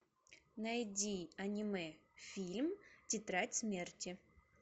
найди аниме фильм тетрадь смерти